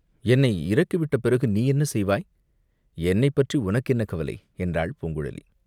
என்னை இறக்கிவிட்ட பிறகு நீ என்ன செய்வாய், என்னை பற்றி உனக்கு என்ன கவலை, என்றாள் பூங்குழலி.